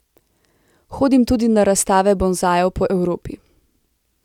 Hodim tudi na razstave bonsajev po Evropi.